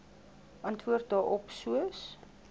antwoord daarop soos